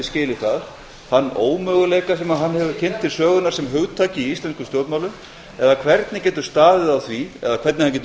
skilið þann ómöguleika sem hann hefur kynnt til sögunnar sem hugtak í íslenskum stjórnmálum eða hvernig getur staðið á því eða hvernig hann getur